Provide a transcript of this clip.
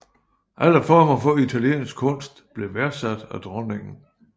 Alle former for italienske kunst blev værdsat af dronningen